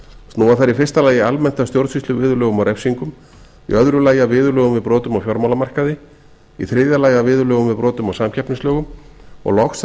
snúa þær í fyrsta lagi almennt að stjórnsýsluviðurlögum og refsingum í öðru lagi að viðurlögum við brotum á fjármálamarkaði í þriðja lagi að viðurlögum við brotum á samkeppnislögum og loks að